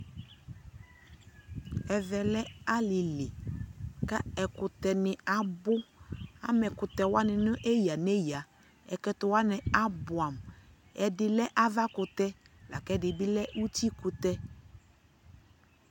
ɛvɛ lɛ alili kʋ ɛkʋtɛ ni abʋ, ama ɛkʋtɛ wani nʋ ɛya ɛya, ɛkʋtɛ wani abʋamʋ, ɛdi lɛ aɣa kʋtɛ lakʋ ɛdi lɛ ʋti kʋtɛ